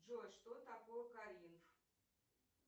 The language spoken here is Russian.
джой что такое калиф